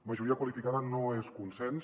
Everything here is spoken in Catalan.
majoria qualificada no és consens